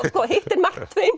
hittir Mark